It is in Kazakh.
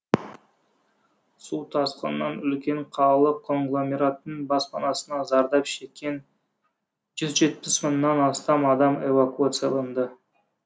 су тасқынынан үлкен қалалық конгломераттың баспанасына зардап шеккен жүз жетпіс мыңнан астам адам эвакуацияланды